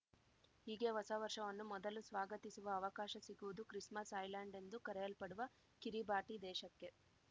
ಹೀಗೆ ಹೊಸ ವರ್ಷವನ್ನು ಮೊದಲು ಸ್ವಾಗತಿಸುವ ಅವಕಾಶ ಸಿಗುವುದು ಕ್ರಿಸ್‌ಮಸ್‌ ಐಲ್ಯಾಂಡ್‌ ಎಂದು ಕರೆಯಲ್ಪಡುವ ಕಿರಿಬಾಟಿ ದೇಶಕ್ಕೆ